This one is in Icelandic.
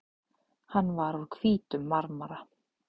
Hann var úr hvítum marmara.